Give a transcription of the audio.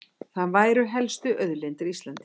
Það væru helstu auðlindir Íslendinga